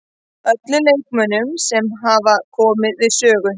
Öllum leikmönnunum sem hafa komið við sögu.